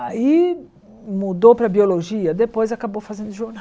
Aí mudou para biologia, depois acabou fazendo